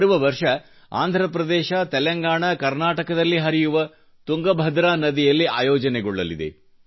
ಬರುವ ವರ್ಷ ಆಂಧ್ರಪ್ರದೇಶ್ ತೆಲಂಗಾಣಾ ಕರ್ನಾಟಕ ದಲ್ಲಿ ಹರಿಯುವ ತುಂಗಭದ್ರ ನದಿಯಲ್ಲಿ ಆಯೋಜನೆಗೊಳ್ಳಲಿದೆ